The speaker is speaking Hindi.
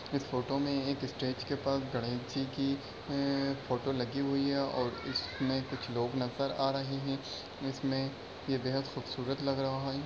इस फोटो में एक स्टेज के पास गणेश जी की ए फोटो लगी हुई है और इसमें कुछ लोग नजर आ रहे है इसमें ये बेहद खूबसूरत लग रहा है।